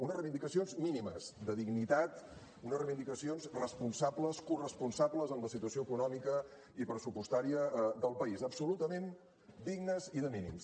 unes reivindicacions mínimes de dignitat unes reivindicacions responsables corresponsables amb la situació econòmica i pressupostària del país absolutament dignes i de mínims